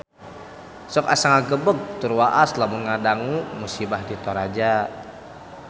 Sok asa ngagebeg tur waas lamun ngadangu musibah di Toraja